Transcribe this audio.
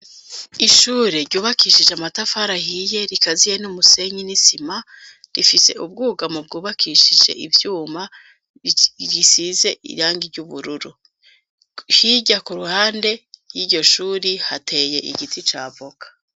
Ishure ryubakishije amatafar' ahiye ,rikaziye n'umusenyi n'isima rifise ubwugamo bwubakishije ivyuma, gisize irangi ry'ubururu, hirya ku ruhande y'iryo shuri hateye igiti ca avoka.